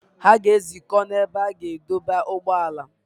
Ha ga-ezukọ n’ebe a na-adọba ụgbọala.